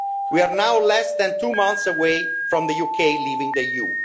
We are now less than two months away from the UK leaving the EU.